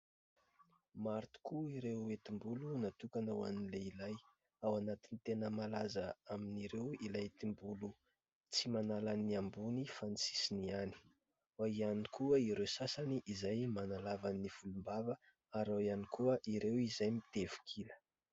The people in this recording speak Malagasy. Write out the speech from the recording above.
Maro tokoa ireo hetim-bolo natokana hoan'ny lehilahy, ao anatin'ny tena malaza amin'ireo ilay hetim-bolo tsy manalan'ny ambony fa ny sisiny ihany, ao ihany koa ireo sasany izay manalavan'ny volom-bava ary ao ihany koa ireo izay mitevikila.